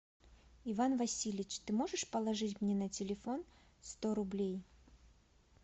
иван васильевич ты можешь положить мне на телефон сто рублей